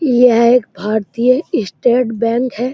यह एक भारतीय स्टेट बैंक है।